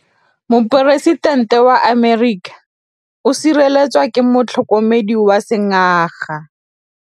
Poresitêntê wa Amerika o sireletswa ke motlhokomedi wa sengaga.